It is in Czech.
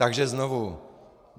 Takže znovu.